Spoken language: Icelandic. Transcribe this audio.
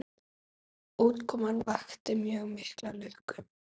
Útkoman vakti mjög mikla lukku.